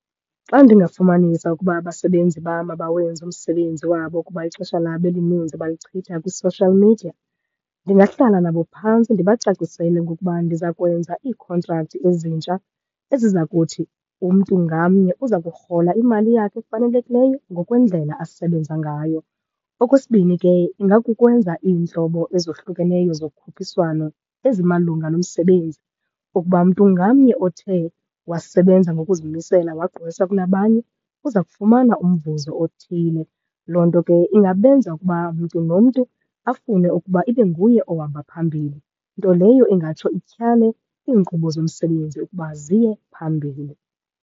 Xa ndingafumanisa ukuba abasebenzi bam abawenzi umsebenzi wabo kuba ixesha labo elininzi balichitha kwi-social media ndingahlala nabo phantsi ndibacacisele ngokuba ndiza kwenza iikhontrakthi ezintsha, eziza kuthi umntu ngamnye uza kurhola imali yakhe efanelekileyo ngokwendlela asebenza ngayo. Okwesibini ke ingakukwenza iintlobo ezohlukeneyo zokhuphiswano ezimalunga nomsebenzi okuba mntu ngamnye othe wasebenza ngokuzimisela wagqwesa kunabanye, uza kufumana umvuzo othile. Loo nto ke ingabenza ukuba mntu nomntu afune ukuba ibe nguye ohamba phambili, nto leyo ingatsho ityhale iinkqubo zomsebenzi ukuba ziye phambili.